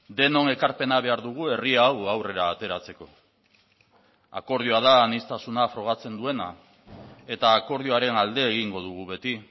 denon ekarpena behar dugu herri hau aurrera ateratzeko akordioa da aniztasuna frogatzen duena eta akordioaren alde egingo dugu beti